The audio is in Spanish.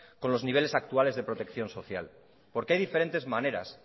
con los niveles actuales de protección social porque hay diferentes maneras